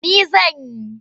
Ni zan yi.